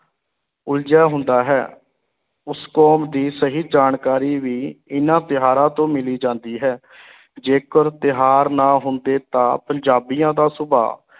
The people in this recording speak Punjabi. ਉਲਝਿਆ ਹੁੰਦਾ ਹੈ, ਉਸ ਕੌਮ ਦੀ ਸਹੀ ਜਾਣਕਾਰੀ ਵੀ ਇਨ੍ਹਾਂ ਤਿਉਹਾਰਾਂ ਤੋਂ ਮਿਲ ਜਾਂਦੀ ਹੈ ਜੇਕਰ ਤਿਉਹਾਰ ਨਾ ਹੁੰਦੇ ਤਾਂ ਪੰਜਾਬੀਆਂ ਦਾ ਸੁਭਾਅ